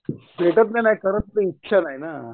भेटत का नहीं करायची इच्छा नाही ना